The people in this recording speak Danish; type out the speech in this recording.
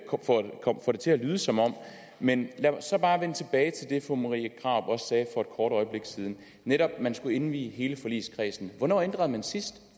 til at lyde som om men lad mig så bare vende tilbage til det fru marie krarup også sagde for et kort øjeblik siden at netop skulle indvi hele forligskredsen hvornår ændrede man sidst